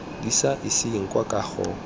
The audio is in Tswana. di sa iseng kwa kagong